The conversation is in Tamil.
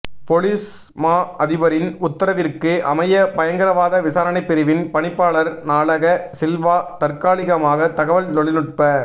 பொலிஸ் மா அதிபரின் உத்தரவிற்கு அமைய பயங்கரவாத விசாரணைப் பிரிவின் பணிப்பாளர் நாலக சில்வா தற்காலிகமாக தகவல் தொழிநுட்ப